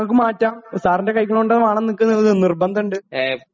ഞങ്ങൾക്ക് മാറ്റാം . സാറിണ്റ്റെ കൈകൊണ്ട് വേണം എന്ന് ഞങ്ങൾക്ക് നിർബന്ധമുണ്ട്